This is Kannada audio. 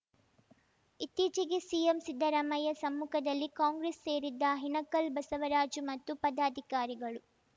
ಇತ್ತೀಚೆಗೆ ಸಿಎಂ ಸಿದ್ದರಾಮಯ್ಯ ಸಮ್ಮುಖದಲ್ಲಿ ಕಾಂಗ್ರೆಸ್‌ ಸೇರಿಸಿದ್ದ ಹಿನಕಲ್‌ ಬಸವರಾಜು ಮತ್ತು ಪದಾಧಿಕಾರಿಗಳು